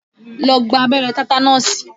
Lọ gba abẹ́rẹ́ tátánọ̀sì!